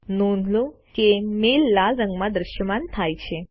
નોંધ લો કે મેઈલ લાલ રંગમાં દ્રશ્યમાન થાય છે